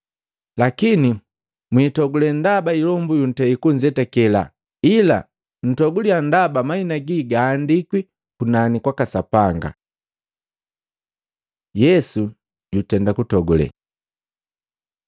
Lakini, mwitogule ndaba ilombu yuntei kunzetakela, ila ntoguliya ndaba mahina gi gahandikwi kunani kwaka Sapanga.” Yesu jutenda kutogule Matei 11:25-27; 13:16-17